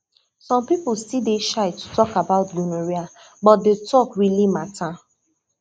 some people still dey shy to talk about gonorrhea but the talk really matter